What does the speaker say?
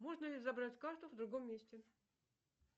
можно ли забрать карту в другом месте